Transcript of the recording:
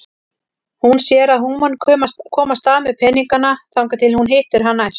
Hún sér að hún mun komast af með peningana þangað til hún hittir hann næst.